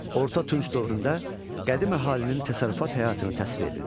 Orta Tunc dövründə qədim əhalinin təsərrüfat həyatını təsvir edin.